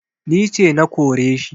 Ni ce na kore shi